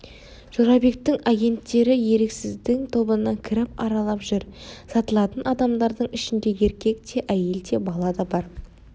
жорабектің агенттері еріксіздің тобына кіріп аралап жүр сатылатын адамдардың ішінде еркек те әйел де бала да бар